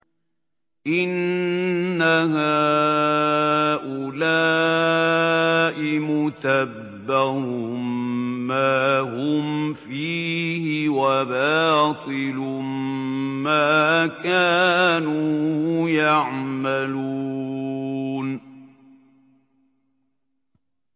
إِنَّ هَٰؤُلَاءِ مُتَبَّرٌ مَّا هُمْ فِيهِ وَبَاطِلٌ مَّا كَانُوا يَعْمَلُونَ